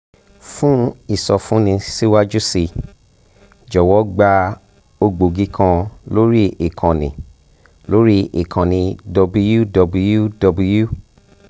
um fún ìsọfúnni síwájú sí i jọ̀wọ́ gba um ògbógi kan lórí ìkànnì um lórí ìkànnì --> https://www